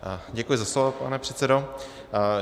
Děkuji za slovo, pane předsedo.